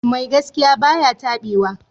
Mai gaskiya ba ya taɓewa.